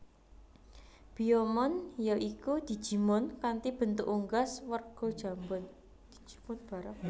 Biyomon ya iku digimon kanthi bentuk unggas werja jambon